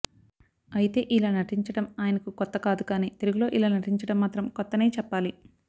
అయితే ఇలా నటించటం ఆయనకు కొత్త కాదు కాని తెలుగు లో ఇలా నటించటం మాత్రం కొత్తనే చెప్పాలి